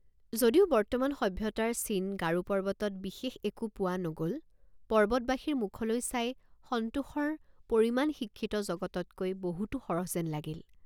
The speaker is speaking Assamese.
যদিও বৰ্তমান সভ্যতাৰ চিন গাৰো পৰ্বতত বিশেষ একো পোৱা নগল পৰ্বতবাসীৰ মুখলৈ চাই সন্তোষৰ পৰিমাণ শিক্ষিত জগততকৈ বহুতো সৰহ যেন লাগিল।